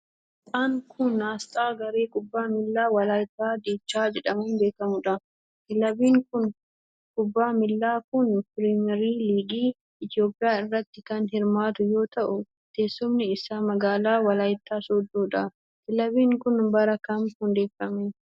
Asxaan kun, asxaa garee kubbaa miilaa Walaayittaa Dichaa jedhamuun beekamuu dha. Kilabiin kubbaa miilaa kun pirimeer liigii Itoophiyaa irratti kan hirmaatu yoo ta'u, teessumni isaa magaalaa Walaayittaa sooddoo dha. Kilabiin kun, bara kam hundeeffame?